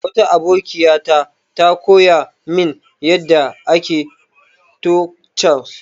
Wata abokiya ta ta koya min yanda ake tacos.